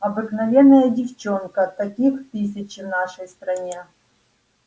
обыкновенная девчонка таких тысячи в нашей стране